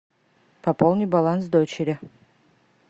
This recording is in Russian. пополни баланс дочери